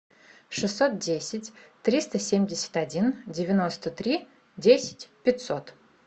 шестьсот десять триста семьдесят один девяносто три десять пятьсот